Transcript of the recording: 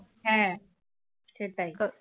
হ্যাঁ সেটাই